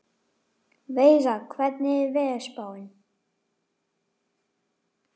Veiga, hvernig er veðurspáin?